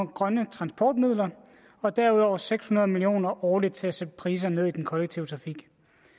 grønne transportmidler og derudover seks hundrede million kroner årligt til at sætte priserne ned i den kollektive trafik